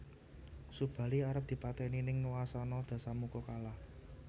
Subali arep dipatèni ning wasana Dasamuka kalah